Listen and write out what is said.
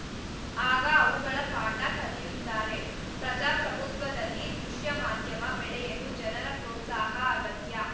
ಆಗ ಅವುಗಳು ಪಾಠ ಕಲಿಯುತ್ತಾರೆ ಪ್ರಜಾಪ್ರಭುತ್ವದಲ್ಲಿ ದೃಶ್ಯ ಮಾಧ್ಯಮ ಬೆಳೆಯಲು ಜನರ ಪ್ರೋತ್ಸಾಹ ಅಗತ್ಯ